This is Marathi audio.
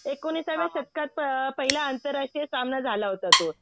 एकोणिसाव्या शतकात पहिला आंतरराष्ट्रीय सामना झाला होता तो.